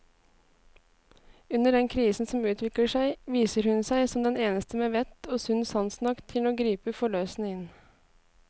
Under den krisen som utvikler seg, viser hun seg som den eneste med vett og sunn sans nok til å gripe forløsende inn.